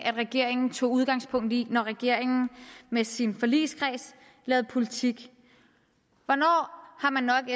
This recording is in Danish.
regeringen tog udgangspunkt i når regeringen med sin forligskreds laver politik hvornår har man nok